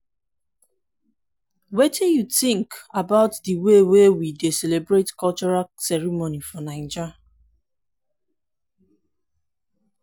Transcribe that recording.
wetin you think about di way wey we dey celebrate cultural ceremonies for naija?